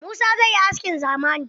Musa zai yi askin zamani.